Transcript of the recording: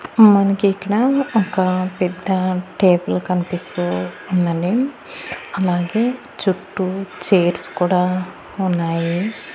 మనకి ఇక్కడ ఒక పెద్ద టేబుల్ కనిపిస్తూ ఉందండి అలాగే చుట్టూ చైర్స్ కూడా ఉన్నాయి.